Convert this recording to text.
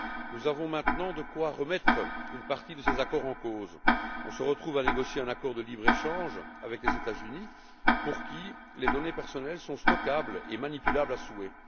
Nous avons maintenant de quoi remettre une partie de ces accords en cause. On se retrouve à négocier un accord de libre échange avec les États Unis, pour qui les données personnelles sont stockables et manipulables à souhait.